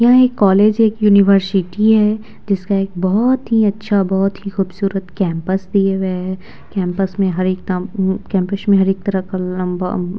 यह एक कॉलेज है एक यूनिवर्सिटी है जिसका एक बहुत ही अच्छा बहुत ही खूबसूरत कैंपस दिए हुए हैं कैंपस में हर एक काम उम्म कैंपस में हर एक तरह का लम्बा --